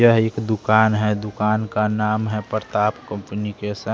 यह एक दुकान है दुकान का नाम है प्रताप कंपनीकेशन --